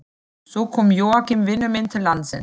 Svo kom Jóakim vinur minn til landsins.